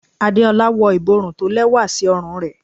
Adeola wọ iborún tó lewa sí òrùn re